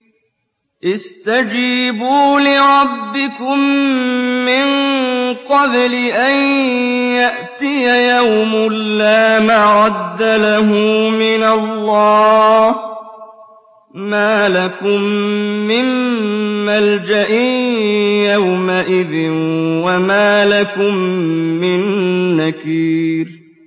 اسْتَجِيبُوا لِرَبِّكُم مِّن قَبْلِ أَن يَأْتِيَ يَوْمٌ لَّا مَرَدَّ لَهُ مِنَ اللَّهِ ۚ مَا لَكُم مِّن مَّلْجَإٍ يَوْمَئِذٍ وَمَا لَكُم مِّن نَّكِيرٍ